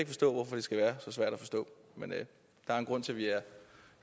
forstå hvorfor det skal være så svært at forstå men der er en grund til vi er